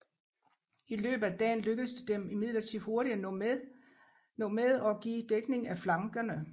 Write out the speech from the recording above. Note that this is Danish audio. I løbet af dagen lykkedes det dem imidlertid hurtigt at nå med og give dækning af flankerne